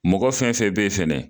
Mɔgɔ fɛn fɛn be fɛnɛ